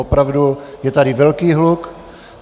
Opravdu je tady velký hluk.